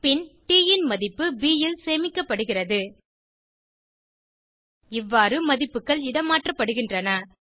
பின் ட் ன் மதிப்பு ப் ல் சேமிக்கப்படுகிறது இவ்வாறு மதிப்புகள் இடமாற்றப்படுகின்றன